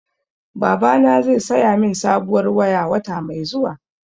Babana zai saya min sabuwar waya, wata mai zuwa.